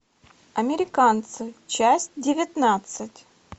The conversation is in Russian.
американцы часть девятнадцать